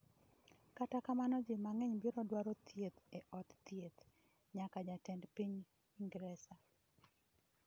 Kata kamano ji mang'eny biro dwaro thieth e od thieth - nyaka jatend piny Ingresa.